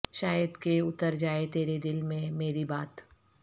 شاید کے اتر جائے تیرے دل میں میری بات